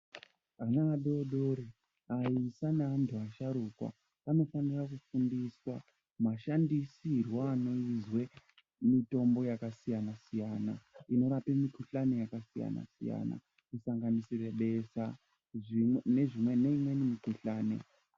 Vana vadodori aisa nevantu vasharukwa vanofanira kufundiswa mashandisirwo anoitwa mitombo yakasiyana siyana inorapa mikhuhlani yakasiyana siyana kusanganisira besha neimweni mikhuhlani.